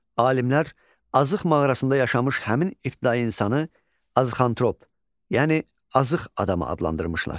Alimlər Azıq mağarasında yaşamış həmin ibtidai insanı Azıxantrop, yəni Azıq adamı adlandırmışlar.